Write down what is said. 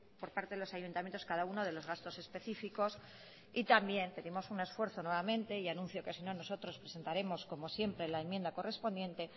por parte de los ayuntamientos cada uno de los gastos específicos y también pedimos un esfuerzo nuevamente y anuncio que si no nosotros presentaremos como siempre la enmienda correspondiente